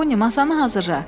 Poni, masanı hazırla.